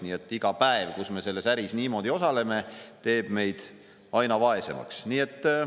Nii et iga päev, kui me selles äris niimoodi osaleme, teeb meid aina vaesemaks.